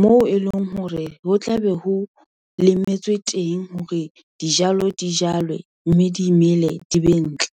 moo e leng hore ho tlabe ho lemetswe teng hore dijalo di jalwe, mme di mele, di be ntle.